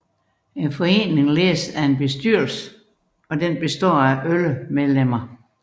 Foreningen ledes af en bestyrelse som består af 11 medlemmer